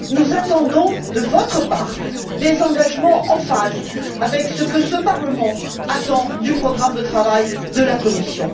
Nous attendons de votre part des engagements en phase avec ce que ce Parlement attend du programme de travail de la Commission.